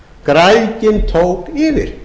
græðgin tók yfir